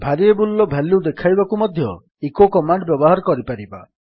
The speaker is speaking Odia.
ଭାରିଏବଲ୍ ର ଭାଲ୍ୟୁ ଦେଖାଇବାକୁ ମଧ୍ୟ ଇକୋ କମାଣ୍ଡ୍ ବ୍ୟବହାର କରିପାରିବା